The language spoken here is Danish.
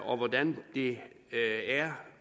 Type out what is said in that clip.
og hvordan det er